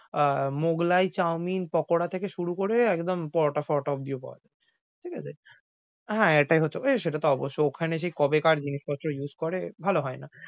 আহ Mughlai Chowmein pakora থেকে শুরু করে একদম পরোটা ফরোটা অব্দিও পাওয়া যায়। ঠিক আছে হ্যাঁ, এটাই হচ্ছে ওয়ে সেটা তো অবশ্যই। ওখানে সে কবে কার জিনিসপত্র use করে ভালো হয় না।